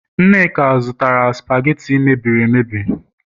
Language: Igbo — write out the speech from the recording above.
nneka zụtara supagetti mebieri emebi